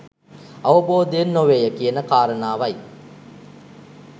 අවබෝධයෙන් නොවේ ය කියන කාරණාව යි.